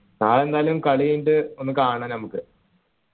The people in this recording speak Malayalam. നാളെ എന്തായാലും കളി കഴിഞ്ഞിട്ട് ഒന്ന് കാണാം നമുക്ക്